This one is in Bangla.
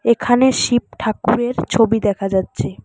এখানে শিব ঠাকুরের ছবি দেখা যাচ্ছে।